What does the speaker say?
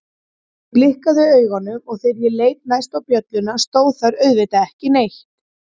Ég blikkaði augunum og þegar ég leit næst á bjölluna stóð þar auðvitað ekki neitt.